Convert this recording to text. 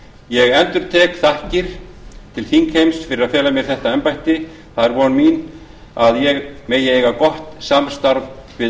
ég endurtek þakkir til þingheims fyrir að fela mér þetta embætti það er von mín að ég megi eiga gott samstarf við